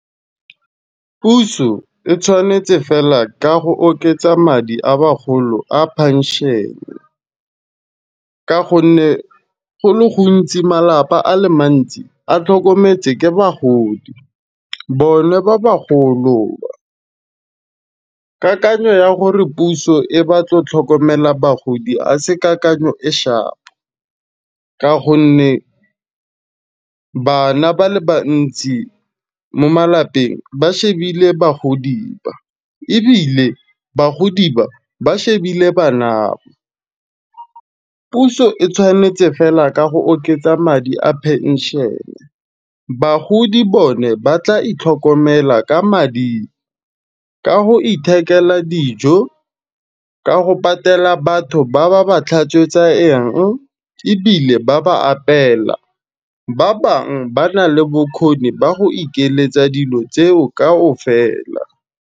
Puso e tshwanetse fela ka go oketsa madi a bagolo a penšhene. Ka gonne go le gontsi malapa a le mantsi a tlhokometse ke bogodi, bona ba ba golo ba. Kakakanyo ya gore puso e batlo tlhokomela bagodi a se kakanyo e shapo, ka gonne bana ba le bantsi mo malapeng ba shebile bagodi ba ebile bagodi ba ba shebile bana. Puso e tshwanetse fela ka go oketsa madi a penšhene, bagodi bone ba tla itlhokomela ka madi, ka go ithekela dijo, ka go patela batho ba ba ba tlhatswetsang ebile ba ba apela. Ba bang ba na le bokgoni ba go ikeletsa dilo tseo kaofela.